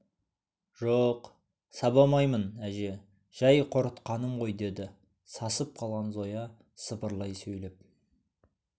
жо сабамаймын әже жай қорқытқаным ғой деді сасып қалған зоя сыбырлай сөйлеп